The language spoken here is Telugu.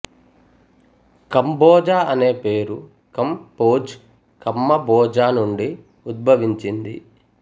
కంబోజా అనే పేరు కమ్ భోజ్ కమ్మ బోజా నుండి ఉద్భవించింది